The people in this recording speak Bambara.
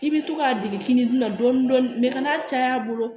I bɛ to k'a dege fini dun na dɔɔnin dɔɔnin ka n'a caya a bolo